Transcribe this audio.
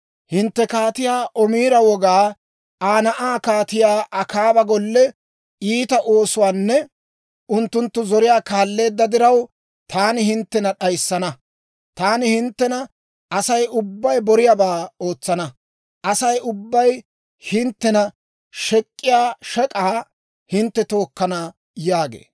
Hintte Kaatiyaa Omira wogaa, Aa na'aa Kaatiyaa Akaaba golle iita oosuwaanne unttunttu zoriyaa kaalleedda diraw, taani hinttena d'ayissana; taani hinttena Asay ubbay boriyaabaa ootsana. Asay ubbay hinttena shek'k'iyaa shek'aakka hintte tookkana» yaagee.